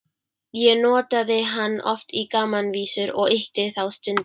Ég notaði hann oft í gamanvísur og ýkti þá stundum.